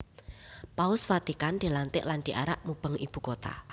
Paus Vatikan dilantik lan diarak mubeng ibu kota